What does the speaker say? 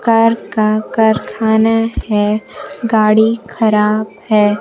Car का कारखाना है गाड़ी खराब है।